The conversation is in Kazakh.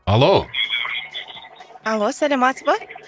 алло алло саламатсыз ба